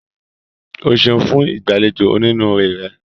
O ṣeun fun igbaalejò oninuure rẹ.